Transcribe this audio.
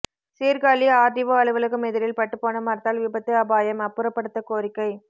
Sirkazhi RTO அலுவலகம் எதிரில் பட்டுபோன மரத்தால் விபத்து அபாயம் அப்புறப்படுத்த கோரிக்கை